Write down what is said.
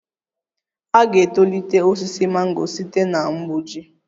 A ga-etolite osisi mango site na mgbuji